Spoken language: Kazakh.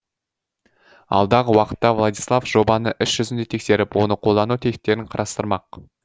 алдағы уақытта владислав жобаны іс жүзінде тексеріп оны қолдану тетіктерін қарастырмақ